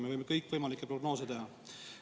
Me võime kõikvõimalikke prognoose teha.